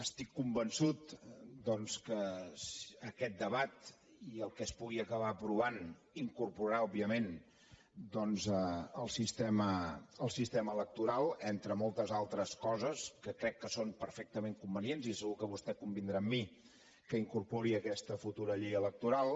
estic convençut doncs que aquest debat i el que es pugui acabar aprovant incorporarà òbviament el sistema electoral entre moltes altres coses que crec que són perfectament convenients i segur que vostè convindrà amb mi que incorpori aquesta futura llei electoral